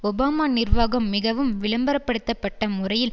Obama நிர்வாகம் மிகவும் விளம்பரப்படுத்தப்பட்ட முறையில்